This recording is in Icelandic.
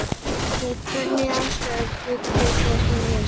Við hvernig aðstæður bjuggu þær heima hjá sér?